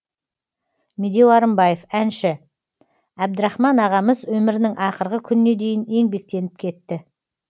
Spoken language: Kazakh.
медеу арынбаев әнші әбдірахман ағамыз өмірінің ақырғы күніне дейін еңбектеніп кетті